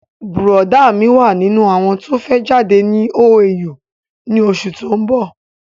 Bùrọ̀dá mí wà nínú àwọn tó fẹ́ jáde ní OAU ni osù tó ń bọ̀